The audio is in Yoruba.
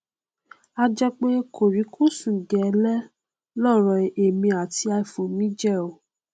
a jẹ pé kòríkòsùn gẹlẹ lọrọ èmi àti iphone mi jẹ o